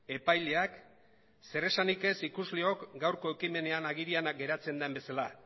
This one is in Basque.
epaileak zer esanik ez ikusleok gaurko ekimenean agerian geratzen den bezala